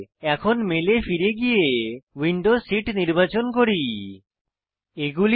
এখন মালে এ ফিরে গিয়ে উইন্ডো সিট নির্বাচন করি